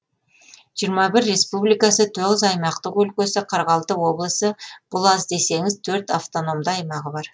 жиырма бір республикасы тоғыз аймақтық өлкесі қырық алты облысы бұл аз десеңіз төрт автономды аймағы бар